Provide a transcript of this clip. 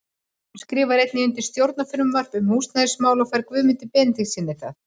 Hún skrifar einnig undir stjórnarfrumvarp um húsnæðismál og fær Guðmundi Benediktssyni það.